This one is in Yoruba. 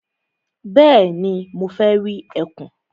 Bẹ́ẹ̀ni, mo fẹ́ rí ẹkùn.